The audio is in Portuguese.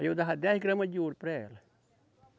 Aí eu dava dez gramas de ouro para ela.